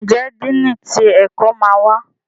Njé Dínni tí ẹkọ má wá?